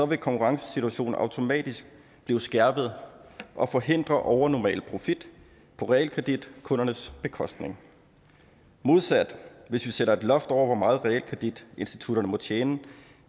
vil konkurrencesituationen automatisk blive skærpet og forhindre overnormal profit på realkreditkundernes bekostning modsat hvis vi sætter et loft over hvor meget realkreditinstitutterne må tjene